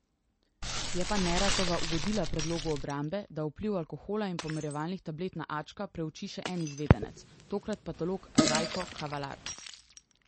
Je pa Neratova ugodila predlogu obrambe, da vpliv alkohola in pomirjevalnih tablet na Ačka preuči še en izvedenec, tokrat patolog Rajko Kavalar.